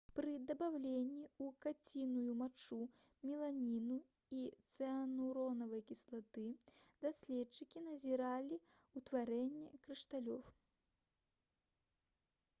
пры дабаўленні ў каціную мачу меланіну і цыануравай кіслаты даследчыкі назіралі ўтварэнне крышталёў